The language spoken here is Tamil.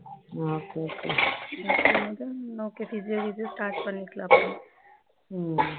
okay okay okay இது இது ஸ்டார்ட் பண்ணிக்கலாம் அப்புறம்